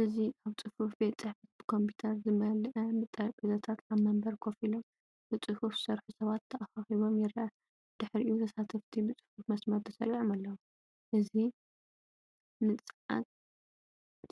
እዚ ኣብ ጽፉፍ ቤት ጽሕፈት፡ ብኮምፒተር ዝመልአ ጠረጴዛታት፡ ኣብ መንበር ኮፍ ኢሎም ብጽፉፍ ዝሰርሑ ሰባት ተኸቢቦም ይረአ። ድሕሪኡ፡ ተሳተፍቲ ብጽፉፍ መስመር ተሰሪዖም ኣለው። እዚ ንጸዓት